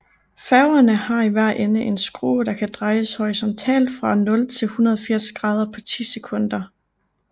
Færgerne har i hver ende en skrue der kan drejes horisontalt fra 0 til 180 grader på ti sekunder